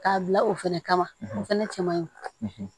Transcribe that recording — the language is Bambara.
K'a bila o fɛnɛ kama o fɛnɛ cɛ man ɲi